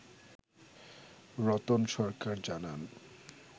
রতন সরকার জানান